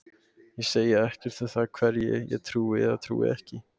Ég segi ekkert um það hverju ég trúi eða trúi ekki.